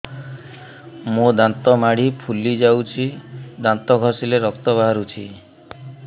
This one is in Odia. ମୋ ଦାନ୍ତ ମାଢି ଫୁଲି ଯାଉଛି ଦାନ୍ତ ଘଷିଲେ ରକ୍ତ ବାହାରୁଛି